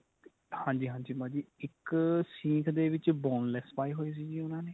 ਹਾਂਜੀ ਹਾਂਜੀ ਭਾਜੀ ਇੱਕ ਸੀਂਖ ਦੇ ਵਿੱਚ boneless ਪਾਏ ਹੋਏ ਸੀਗੇ ਉਨ੍ਹਾਂ ਨੇ